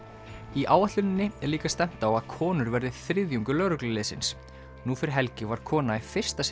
í áætluninni er líka stefnt á að konur verði þriðjungur lögregluliðsins nú fyrir helgi var kona í fyrsta sinn